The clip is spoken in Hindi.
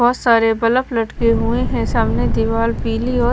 बहुत सारे बल्ब लटके हुए हैं सामने दीवार पीली औ--